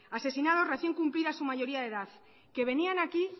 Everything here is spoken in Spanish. asesinados recién cumplida su mayoría de edad que venían aquí